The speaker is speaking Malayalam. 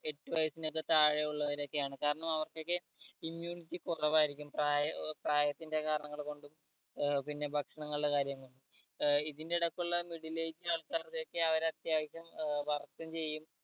എട്ടു വയസ്സിനൊക്കെ താഴെ ഉള്ളവരൊക്കെ ആണ് കാരണം അവർക്കൊക്കെ immunity കൊറവായിരിക്കും പ്രയോ പ്രായത്തിന്റെ കാരണങ്ങൾ കൊണ്ടും ഏർ പിന്നെ ഭക്ഷണങ്ങളുടെ കാര്യം കൊണ്ടും ഏർ ഇതിന്റെ എടക്കുള്ള middle age ആൾക്കാരുടെയൊക്കെ അവരത്യാവശ്യം ഏർ work ഉം ചെയ്യും